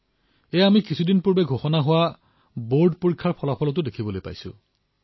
এনেকুৱা কিছুমানেই আমি অলপতে ফলাফল প্ৰকাশ পোৱা বৰ্ডৰ পৰীক্ষাতো দেখা পাইছো